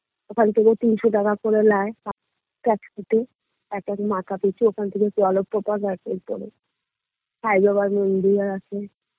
ওখান থেকে তিনশো টাকা করে নেয় সাই বাবার মন্দির আছে